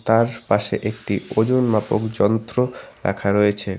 তার পাশে একটি ওজন মাপক যন্ত্র রাখা রয়েছে।